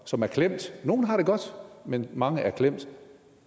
som er klemt nogle har det godt men mange er klemt